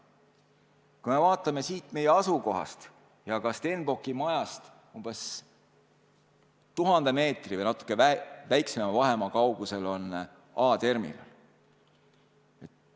Kui me vaatame siit meie asukohast ja ka Stenbocki majast, siis näeme, et umbes 1000 meetri või natuke väiksema vahemaa kaugusel on A-terminal.